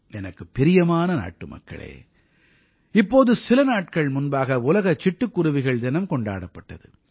எனக்குப் பிரியமான நாட்டுமக்களே இப்போது சில நாட்கள் முன்பாக உலக சிட்டுக்குருவிகள் தினம் கொண்டாடப்பட்டது